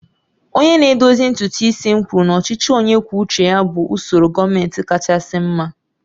Onye na-edozi ntutu isi m kwuru na ọchịchị onye kwuo uche ya bụ usoro gọọmentị kachasị mma